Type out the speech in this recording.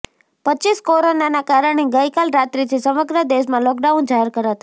રપ કોરોનાના કારણે ગઈકાલ રાત્રીથી સમગ્ર દેશમાં લોકડાઉન જાહેર કરાતા